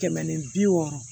Kɛmɛ ni bi wɔɔrɔ